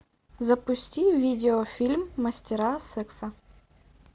запусти видеофильм мастера секса